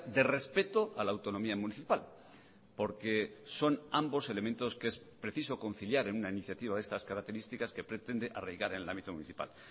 de respeto a la autonomía municipal porque son ambos elementos que es preciso conciliar en una iniciativa de estas características que pretende arraigar en el ámbito municipal